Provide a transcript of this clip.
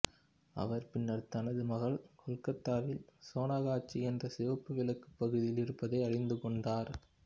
அவர் பின்னர் தனது மகள் கல்கத்தாவில் சோனகாச்சி என்ற சிவப்பு விளக்கு பகுதியில் இருப்பதை அறிந்து கொண்டார்